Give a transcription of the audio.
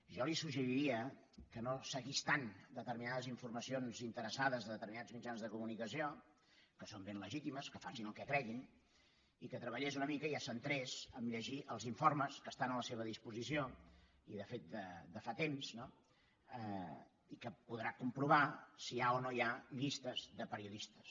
jo li suggeriria que no seguís tant determinades informacions interessades de determi·nats mitjans de comunicació que són ben legítimes que facin el que creguin i que treballés una mica i es centrés a llegir els informes que estan a la seva dis·posició i de fet de fa temps no i que podrà com·provar si hi ha o no hi ha llistes de periodistes